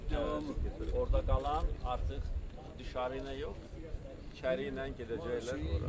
Doğrudur, orda qalan artıq, dışarıyla yox, içəriylə gedəcəklər ora.